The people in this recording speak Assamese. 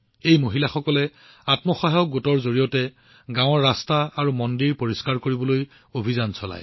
এই মহিলাসকলে আত্মসহায়ক গোটৰ জৰিয়তে গাঁৱৰ ৰাস্তা আৰু মন্দিৰ পৰিষ্কাৰ কৰিবলৈ অভিযান চলায়